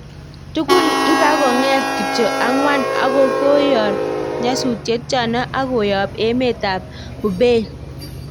Tugul ipakonget kityo akwang ko koyor nyatutet chano ak koyap emet ap Hubei